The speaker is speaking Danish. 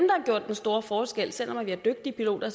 store forskel selv om vi har dygtige piloter